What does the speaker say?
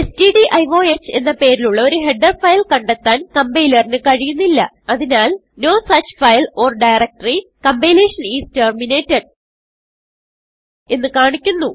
stdiohഎന്ന പേരിലുള്ള ഒരു header file കണ്ടെത്താൻ കംപൈലറിന് കഴിയുന്നില്ല അതിനാൽ no such file or directory compilation is terminated എന്ന് കാണിക്കുന്നു